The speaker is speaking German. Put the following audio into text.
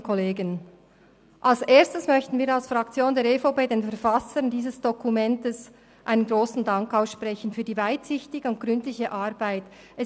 Als Erstes möchte die EVP-Fraktion den Verfassern dieses Dokuments für die weitsichtige und gründliche Arbeit einen grossen Dank aussprechen.